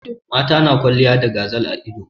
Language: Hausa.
Mata na kwalliya da gazal a ido.